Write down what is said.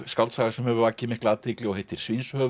skáldsaga sem hefur vakið mikla athygli og heitir